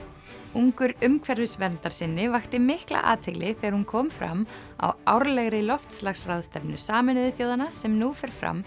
ungur umhverfisverndarsinni vakti mikla athygli þegar hún kom fram á árlegri loftslagsráðstefnu Sameinuðu þjóðanna sem nú fer fram